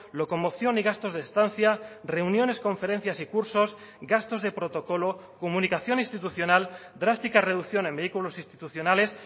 locomoción y gastos de estancia reuniones conferencias y cursos gastos de protocolo comunicación institucional drástica reducción en vehículos institucionales